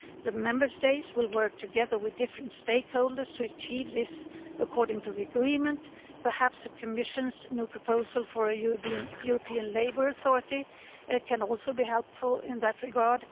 The Member States will work together with different stakeholders to achieve this according to the agreement, perhaps the Commission's new proposal for a European Labour Authority can also be helpful in that regard.